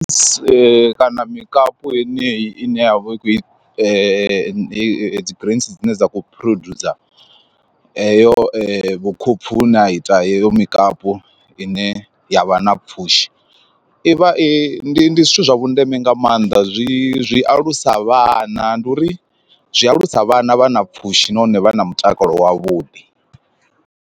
Kana mikapu heneyi ine yavha i kho dzi grains dzine dza kho producer heyo vhukhopfu hune a ita heyo mikapu ine ya vha na pfhushi, ivha i ndi zwithu zwa vhundeme nga maanḓa zwi zwi alusa vhana ndi uri zwi alusa vhana vha na pfhushi nahone vha na mutakalo wavhuḓi.